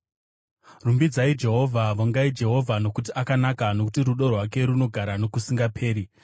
Rumbidzai Jehovha. Vongai Jehovha, nokuti akanaka; nokuti rudo rwake runogara nokusingaperi.